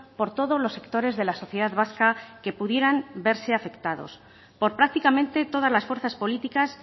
por todos los sectores de la sociedad vasca que pudieran verse afectados por prácticamente todas las fuerzas políticas